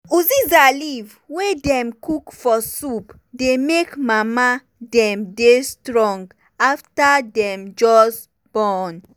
uziza leaf wey dem cook for soup dey make mama dem dey strong afta dem just born.